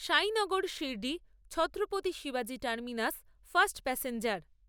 সাইনগর সিরড়ি ছত্রপতি শিবাজী terminus fast passenger